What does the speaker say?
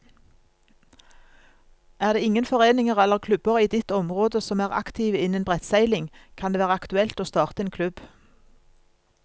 Er det ingen foreninger eller klubber i ditt område som er aktive innen brettseiling, kan det være aktuelt å starte en klubb.